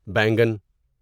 بینگن